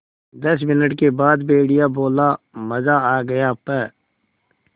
दस मिनट के बाद भेड़िया बोला मज़ा आ गया प्